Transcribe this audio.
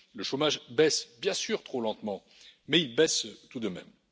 Le chômage baisse, bien sûr trop lentement, mais il baisse tout de même.